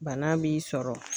Bana b'i sɔrɔ